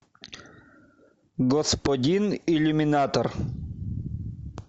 господин иллюминатор